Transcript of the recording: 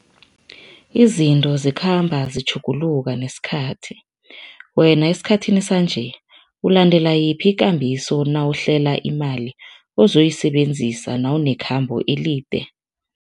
Izinto zikhamba zitjhuguluka nesikhathi. Wena esikhathini sanje, ulandela yiphi ikambiso nawuhlela imali ozoyisebenzisa nawunekhambo elide?